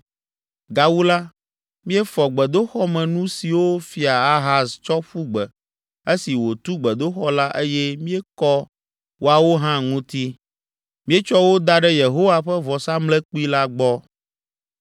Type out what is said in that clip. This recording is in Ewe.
Gawu la, míefɔ gbedoxɔmenu siwo Fia Ahaz tsɔ ƒu gbe esi wòtu gbedoxɔ la eye míekɔ woawo hã ŋuti. Míetsɔ wo da ɖe Yehowa ƒe vɔsamlekpui la gbɔ.”